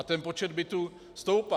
A ten počet bytů stoupá.